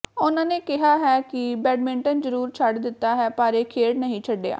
ਉਨ੍ਹਾਂ ਨੇ ਕਿਹਾ ਹੈ ਕਿ ਬੈਡਮਿੰਟਨ ਜ਼ਰੂਰ ਛੱਡ ਦਿੱਤਾ ਹੈ ਪਰ ਇਹ ਖੇਡ ਨਹੀਂ ਛੱਡਿਆ